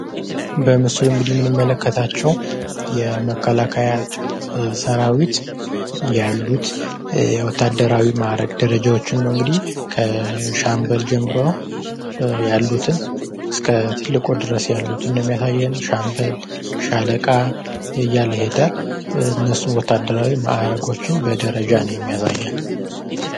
በምስሎ እንግዲህ የምንመለከታቸው የመከላከያ ሠራዊት ያሉት የወታደራዊ ማዕረግ ደረጃዎች ን ነው እንግዲህ ከሻምበል ጀምሮ ያሉትን እስከ ትልቁ ድረስ ያሉትን የሚያሳየን ሻምበል፣ ሻለቃ እያለ ይሄዳል ። እነሱ ወታደራዊ ማዕረጎችን ደረጃዎችን በደረጃ ነው የሚያሳየን ።